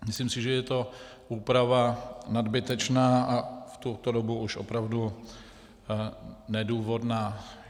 Myslím si, že je to úprava nadbytečná a v tuto dobu už opravdu nedůvodná.